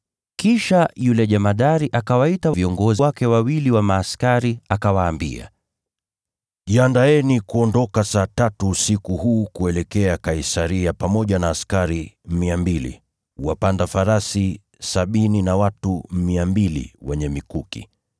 Kisha yule jemadari akawaita viongozi wake wawili wa askari akawaambia, “Jiandaeni kuondoka saa tatu usiku huu kuelekea Kaisaria pamoja na askari 200, wapanda farasi sabini na watu 200 wenye mikuki.